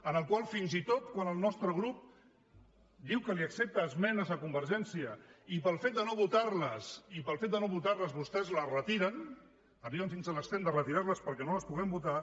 en el qual fins i tot quan el nostre grup diu que li accepta esmenes a convergència i pel fet de no votar les i pel fet de no votar les vostès les retiren arriben fins a l’extrem de retirar les perquè no les puguem votar